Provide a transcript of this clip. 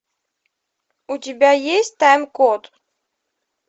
у тебя есть тайм код